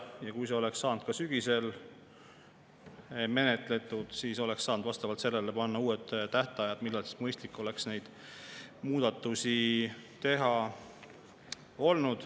Ja kui see oleks saanud ka sügisel menetletud, siis oleks saanud vastavalt sellele panna uued tähtajad, millal oleks olnud mõistlik neid muudatusi teha.